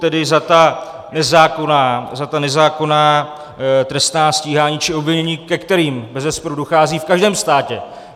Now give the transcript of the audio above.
Tedy za ta nezákonná trestní stíhání či obvinění, ke kterým bezesporu dochází v každém státě.